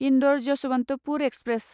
Indore Yesvantpur express